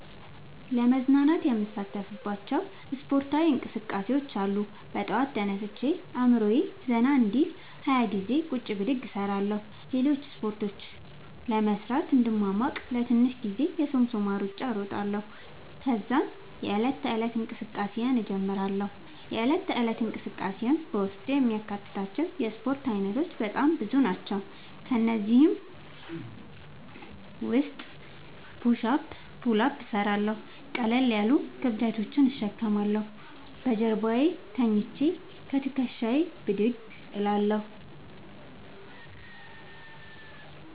ለመዝናናት የምሣተፍባቸዉ እስፖርታዊ እንቅስቃሤዎች አሉ። በጠዋት ተነስቼ አእምሮየ ዘና እንዲል 20ገዜ ቁጭ ብድግ እሰራለሁ። ሌሎችን እስፖርቶች ለመሥራት እንድሟሟቅ ለትንሽ ጊዜ የሶምሶማ እሩጫ እሮጣለሁ። ተዛም የዕለት ተለት እንቅስቃሴየን እጀምራለሁ። የእለት ተለት እንቅስቃሴየም በውስጡ የሚያካትታቸዉ የእስፖርት አይነቶች በጣም ብዙ ናቸዉ። ከእነዚህም ዉስጥ ፑሽ አፕ ፑል አፕ እሠራለሁ። ቀለል ያሉ ክብደቶችን እሸከማለሁ። በጀርባየ ተኝቸ ከትክሻየ ብድግ እላለሁ።